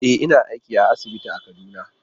E, ina aiki a asibiti a Kaduna.